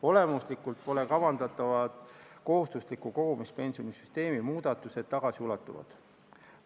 Olemuslikult pole kavandatava kohustusliku kogumispensioni süsteemi muudatused tagasiulatuvad.